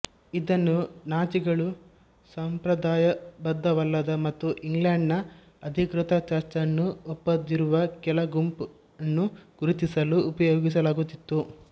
ಇದನ್ನು ನಾಜಿಗಳು ಸಂಪ್ರದಾಯಬದ್ಧವಲ್ಲದ ಮತ್ತು ಇಂಗ್ಲೆಂಡ್ ನ ಅಧಿಕೃತ ಚರ್ಚ್ ಅನ್ನು ಒಪ್ಪದಿರುವ ಕೆಲ ಗುಂಪನ್ನು ಗುರುತಿಸಲು ಉಪಯೋಗಿಸಲಾಗುತ್ತಿತ್ತು